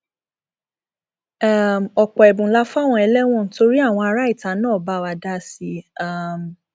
um ọpọ ẹbùn la fáwọn ẹlẹwọn torí àwọn ará ìta náà bá wa dá sí i um